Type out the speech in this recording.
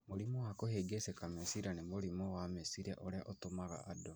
Mũrimũ wa kũhĩngĩcĩka meciria nĩ mũrimũ wa meciria ũrĩa ũtũmaga andũ